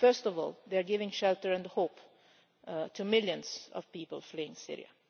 First of all, they are giving shelter and hope to millions of people fleeing Syria.